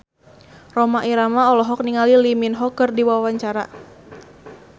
Rhoma Irama olohok ningali Lee Min Ho keur diwawancara